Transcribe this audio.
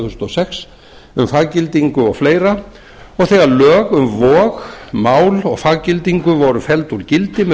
þúsund og sex um faggildingu og fleiri og þegar lög um vog mál og faggildingu voru felld úr gildi með